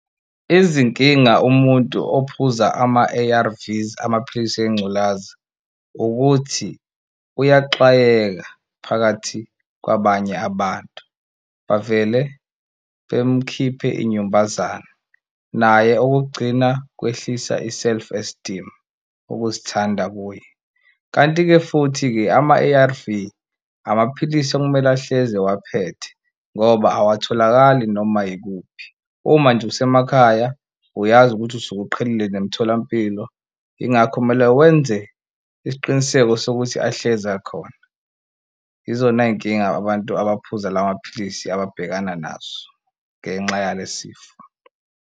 Izinkinga umuntu ophuza ama-ama-A_R_Vs amapilisi engculaza ukuthi uyaxwayeka phakathi kwabanye abantu bavele bemkhiphe inyumbazane, naye okokugcina kwehlisa i-self esteem ukuzithanda kuye, kanti-ke futhi-ke ama-A_R_V amaphilisi okumele ahlezi ewaphethe ngoba awatholakali noma yikuphi. Uma nje usemakhaya uyazi ukuthi usuke uqhelile nemitholampilo yingakho kumele wenze isiqiniseko sokuthi ahlezi akhona izona y'nkinga abantu abaphuza la maphilisi ababhekana nazo ngenxa yale sifo.